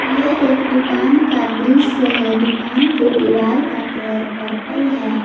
यह एक दुकान का दृश्य है दुकान की दीवार का कलर पर्पल है।